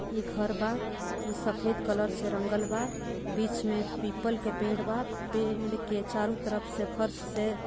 इ घर बा इ सफेद कलर से रंगल बा बीच में पीपल के पेड़ बा पेड़ के चारों तरफ से फर्श से --